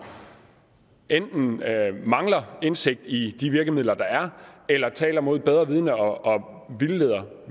enten mangler indsigt i de virkemidler der er eller taler mod bedre vidende og vildleder